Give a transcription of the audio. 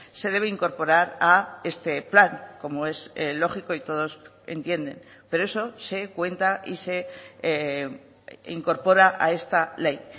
se debe incorporar a este plan como es lógico y todos entienden pero eso se cuenta y se incorpora a esta ley